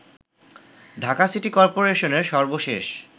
Dhaka city করপোরেশনের সর্বশেষ